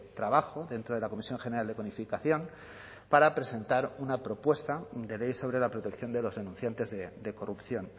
trabajo dentro de la comisión general de codificación para presentar una propuesta de ley sobre la protección de los denunciantes de corrupción